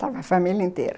Estava a família inteira.